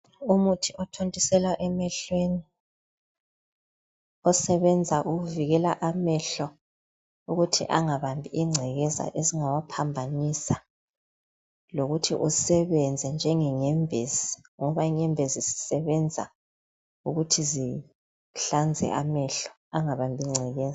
Umuthi othontiselwa emehlweni, osebenza ukuvikela amehlo ukuthi anagabambi ingcekeza ezingawa phambanisa. Lokuthi usebenza njengenyembezi ngoba inyembezi zisebenza ukuthi zihlanze amehlo ukuthi anagabambi ngcekeza.